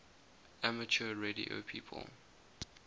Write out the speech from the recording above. amateur radio people